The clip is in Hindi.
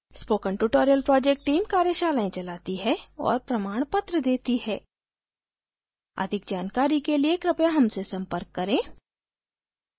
spoken tutorial project team कार्यशालाएं चलाती है और प्रमाणपत्र देती है अधिक जानकारी के लिए कृपया हमसे संपर्क करें